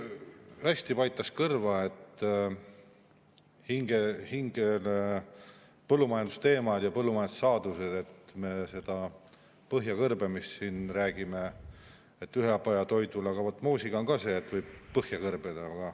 Nii hästi paitasid kõrva ja hinge põllumajandusteemad ja põllumajandussaadused, et me sellest ühepajatoidu põhjakõrbemisest siin räägime, aga vot moosiga on ka see, et võib põhja kõrbeda.